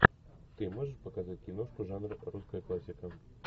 ты можешь показать киношку жанра русская классика